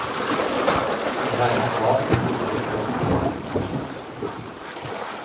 For her er hav, hav og himmel.